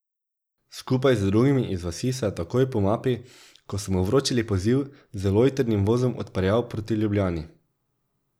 Skupaj z drugimi iz vasi se je takoj po mapi, ko so mu vročili poziv, z lojtrnim vozom odpeljal proti Ljubljani.